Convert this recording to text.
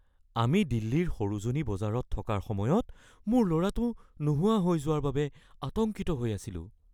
আমি দিল্লীৰ সৰোজিনী বজাৰত থকাৰ সময়ত মোৰ ল’ৰাটো নোহোৱা হৈ যোৱাৰ বাবে আতংকিত হৈ আছিলোঁ।